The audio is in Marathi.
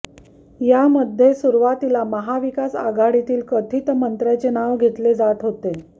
यामध्ये सुरुवातीला महाविकास आघाडीतील कथित मंत्र्याचे नाव घेतलं जात होतं